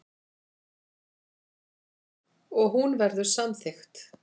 Og hún verður samþykkt.